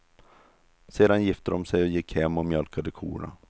Sedan gifte de sig och gick hem och mjölkade korna.